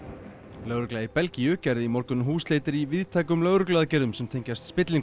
lögregla í Belgíu gerði í morgun húsleitir í víðtækum lögregluaðgerðum sem tengjast spillingu í